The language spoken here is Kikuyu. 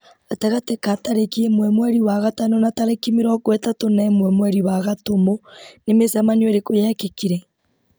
gatagatĩ ka tarĩki ĩmwe mweri wa gatano na tarĩki mĩrongo ĩtatũ na ĩmwe mweri wa gatumu nĩ mĩcemanio ĩrĩkũ yekĩkire